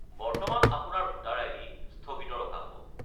বৰ্তমান আপোনাৰ voter ID. স্থগিত ৰখা হ'ব।